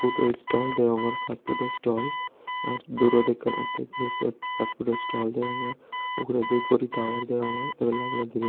food o stall degongor fast food o stall r durot ekkan ordek guri fast food o stall degongor uguredi guri tower degongor.